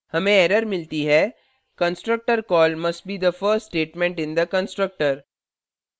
हमें एरर मिलती है:constructor call must be the first statement in the constructor